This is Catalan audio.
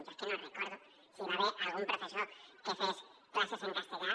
jo és que no recordo si hi va haver algun professor que fes classes en castellà